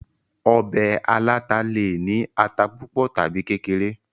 ọbẹ̀ aláta le è ní ata púpọ̀ tàbi kékeré